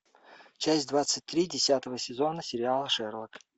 часть двадцать три десятого сезона сериала шерлок